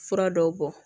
Fura dɔw bɔ